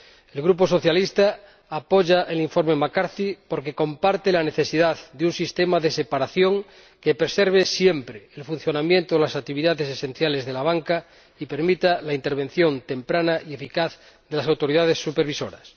El Grupo socialista apoya el informe McCarthy porque comparte la necesidad de un sistema de separación que preserve siempre el funcionamiento de las actividades esenciales de la banca y permita la intervención temprana y eficaz de las autoridades supervisoras.